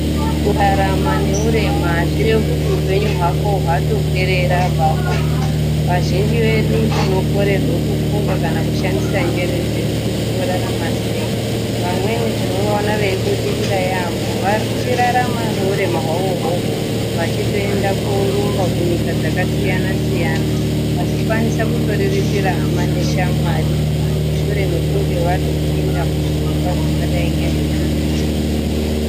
Kurarama neurema hazvirevi kuti upenyu hwako hwatoperera ipapo, vazhinji vedu tinokurirwe kufunga kana kushandise njere dzedu kuti torarame sei, vamweni tinoona vachibudirira yambo vachirarama neurema hwavo ihoho vachitoenda kunorumba kunyika dzakasiyana-siyana vachikwanisa kutoriritira hama neshamwari mushure mekunge vatopinda muzvirongwa zvakadai ngezvekurumba izvi.